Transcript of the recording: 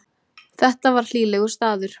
Þetta var hlýlegur staður.